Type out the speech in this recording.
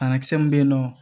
Banakisɛ min bɛ yen nɔ